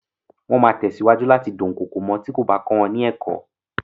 Wọ́n máa tẹ̀síwájú láti dúnkokò mọ́ ọn tí kò bá kọ wọn ní ẹ̀kọ́.